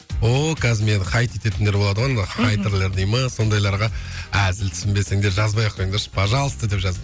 ооо қазір мені хайт ететіндер болады ғой мхм енді хайтерлер дей ме сондайларға әзіл түсінбесеңдер жазбай ақ қойыңдаршы пожалуйста деп жаз